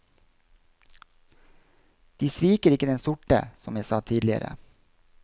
De sviker ikke den sorte, som jeg sa tidligere.